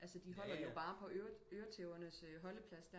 Altså de holder jo bare på øretævernes holdeplads